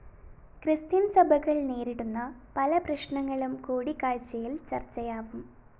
Christian സഭകള്‍ നേരിടുന്ന പല പ്രശ്നങ്ങളും കൂടിക്കാഴ്ചയില്‍ ചര്‍ച്ചയാവും